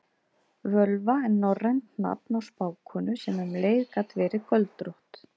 Völva er norrænt nafn á spákonu sem um leið gat verið göldrótt.